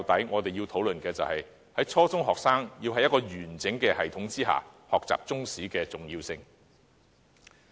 我們認為，初中學生在一個完整系統下學習中史非常重要。